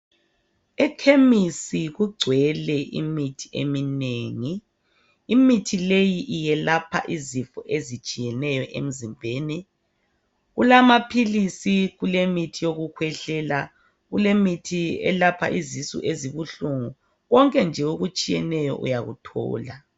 Ekemisi kugcwele imithi eminengi. Imithi leyi iyelapha izifo ezitshiyeneyo emzimbeni. Kulamapilisi, kulemithi yokukwehlela, kulemithi elapha izisu ezibuhlungu. Konke nje okutshiyeneyo uyakuthola.